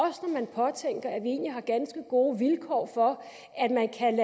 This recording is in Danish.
man påtænker at vi egentlig har ganske gode vilkår for at man kan